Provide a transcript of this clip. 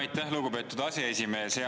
Aitäh, lugupeetud aseesimees!